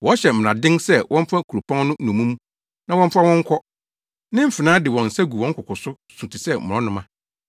Wɔhyɛ mmaraden sɛ wɔmfa kuropɔn no nnommum na wɔmfa wɔn nkɔ. Ne mfenaa de wɔn nsa gu wɔn koko so su te sɛ mmorɔnoma.